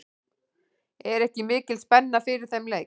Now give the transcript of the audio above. Er ekki mikil spenna fyrir þeim leik?